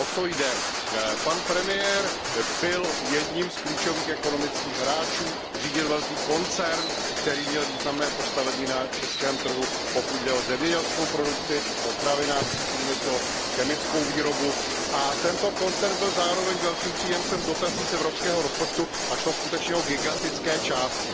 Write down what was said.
O co jde? Pan premiér byl jedním z klíčových ekonomických hráčů, řídil velký koncern, který měl významné postavení na českém trhu, pokud jde o zemědělskou produkci, potravinářský průmysl, chemickou výrobu, a tento koncern byl zároveň velkým příjemcem dotací z evropského rozpočtu a šlo skutečně o gigantické částky.